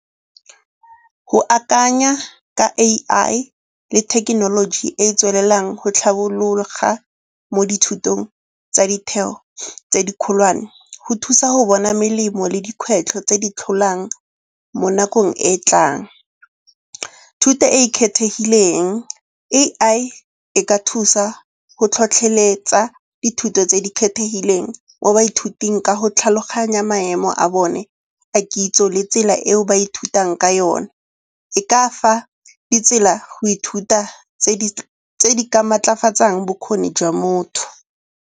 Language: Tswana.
Go akanya ka A_I le thekenoloji e e tswelelang go tlhabologa mo dithutong tsa ditheo tse di kgolwane go thusa go bona melemo le dikgwetlho tse di tlholang mo nakong e e tlang. Thuto e e kgethegileng, A_I e ka thusa go tlhotlheletsa dithuto tse di kgethegileng mo baithuting ka go tlhaloganya maemo a bone a kitso le tsela eo ba ithutang ka yona. E ka fa ditsela go ithuta tse di ka maatlafatsang bokgoni jwa motho.